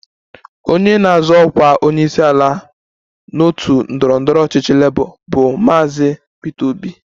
Onye na-azọ ọkwa onyeisiala n'otu ndọrọ ndọrọ ọchịchị Labour bụ Maazị Peter Obi